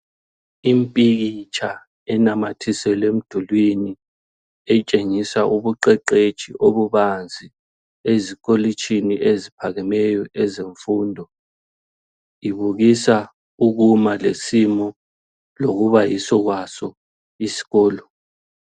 Impikitsha enamathiselwe emdulini etshengisa ubuqeqetshi obubanzi ezikolitshini eziphakemeyo ezemfundo ibukisa ukuma lesimo lokuba yiso kwaso isikolo.